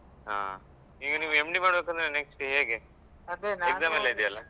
ಹಾ ಈಗ ನೀವು MD ಮಾಡ್ಬೇಕಂದ್ರೆ next ಹೇಗೆ exam ಎಲ್ಲ ಇದೆಯಲ್ಲ?